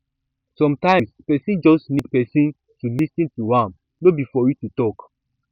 sometimes person just need person to lis ten to am no be for you to talk